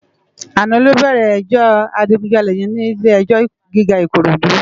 Àná lò bèrè èjò àjigúnjàlé yèn ni ilé èjò gigá Ikorodu